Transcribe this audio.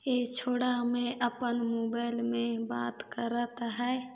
ए छोडा ह मे अपन मोबाईल मे बात करत है।